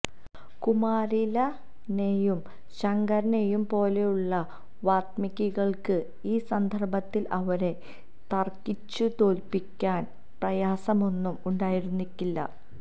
കുമാരിലനെയും ശങ്കരനെയും പോലുള്ള വാഗ്മികള്ക്ക് ഈ സന്ദര്ഭത്തില് അവരെ തര്ക്കിച്ചുതോല്പ്പിക്കാന് പ്രയാസമൊന്നും ഉണ്ടായിരിക്കില്ല